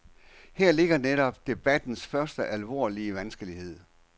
Her ligger netop debattens første, alvorlige vanskelighed.